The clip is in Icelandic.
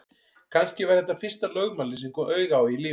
Kannski var þetta fyrsta lögmálið sem ég kom auga á í lífinu.